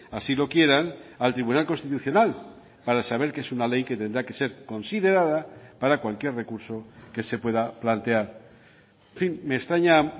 así lo quieran al tribunal constitucional para saber que es una ley que tendrá que ser considerada para cualquier recurso que se pueda plantear en fin me extraña